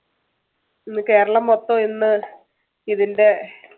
ഇന്ന് കേരളം മൊത്തം ഇന്ന് ഇതിന്‍ടെ